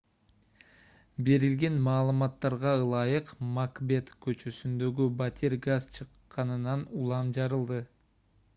берилген маалыматтарга ылайык макбет көчөсүндөгү батир газ чыкканынан улам жарылды